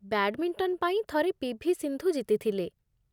Badminton ପାଇଁ, ଥରେ ପି.ଭି.ସିନ୍ଧୁ ଜିତିଥିଲେ।